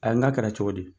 Ayi n ga kɛra cogo di